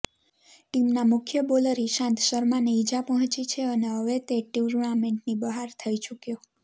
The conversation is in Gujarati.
ટીમના મુખ્ય બોલર ઈશાંત શર્માને ઈજા પહોંચી છે અને હવે તે ટુર્નામેન્ટની બહાર થઈ ચુક્યો